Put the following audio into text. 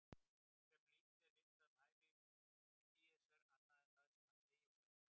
Fremur lítið er vitað um ævi Þúkýdídesar annað en það sem hann segir sjálfur.